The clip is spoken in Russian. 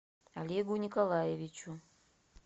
олегу николаевичу